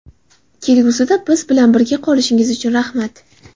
Kelgusida biz bilan birga qolishingiz uchun rahmat!